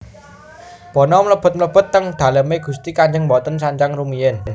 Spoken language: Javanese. Bono mlebet mlebet teng daleme gusti kanjeng mboten sanjang rumiyin